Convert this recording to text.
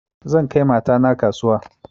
Zan kai mata na kasuwa